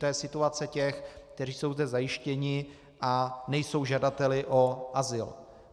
To je situace těch, kteří jsou zde zajištěni a nejsou žadateli o azyl.